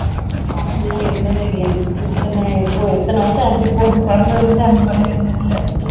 அப்படி எல்லாம் இருந்தது இல்ல இத்தனை எப்போ எத்தனை வருஷம் ஆச்சு இப்போ பிறந்ததுல இருந்தே அந்த மாதிரி எல்லாம் இருந்தது இல்ல